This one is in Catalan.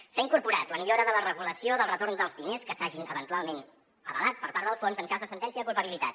s’hi ha incorporat la millora de la regulació del retorn dels diners que s’hagin eventualment avalat per part del fons en cas de sentència de culpabilitat